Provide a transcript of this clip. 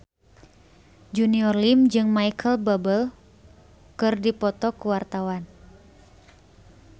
Junior Liem jeung Micheal Bubble keur dipoto ku wartawan